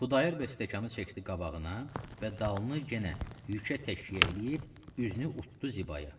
Xudayar bəy stəkanı çəkdi qabağına və dalını yenə yükə təkyə eləyib, üzünü utdu Zibaya.